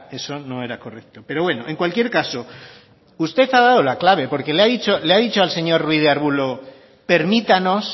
eso no era correcto pero bueno en cualquier caso usted ha dado la clave porque le ha dicho al señor ruiz de arbulo permítanos